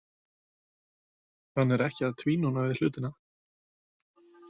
Hann er ekki að tvínóna við hlutina.